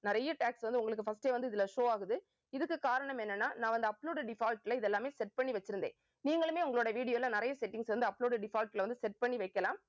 நிறைய tags வந்த உங்களுக்கு first ஏ வந்து இதுல show ஆகுது. இதுக்கு காரணம் என்னன்னா நான் வந்து upload default ல இது எல்லாமே set பண்ணி வச்சிருந்தேன் நீங்களுமே உங்களோட video ல நிறைய settings வந்து upload default ல வந்து set பண்ணி வைக்கலாம்